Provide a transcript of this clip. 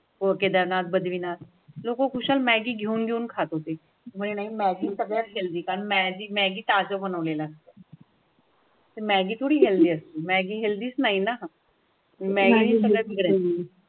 को केदारनाथ, बद्रीनाथ लोक कुशल मॅगी घेऊन घेऊन खात होतेमध्ये नाही मग सगळी कारण मॅगी ताजे बनवलेलं मॅगी थोडी हेल्दीफुड आस्थो.